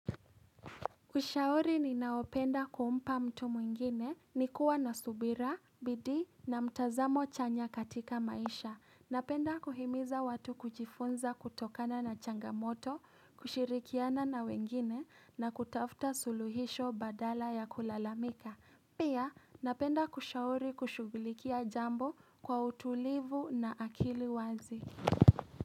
Ushauri ni naopenda kuumpa mtu mwingine ni kuwa na subira, bidii na mtazamo chanya katika maisha. Napenda kuhimiza watu kujifunza kutokana na changamoto, kushirikiana na wengine na kutafuta suluhisho badala ya kulalamika. Pia napenda kushauri kushughulikia jambo kwa utulivu na akili wazi.